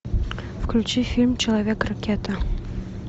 включи фильм человек ракета